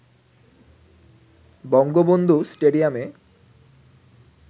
বঙ্গবন্ধু স্টেডিয়ামে